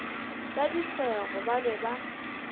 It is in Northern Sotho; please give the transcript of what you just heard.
ka disego ba be ba